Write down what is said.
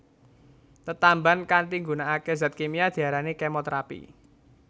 Tetamban kanthi nggunakake zat kimia diarani kemoterapi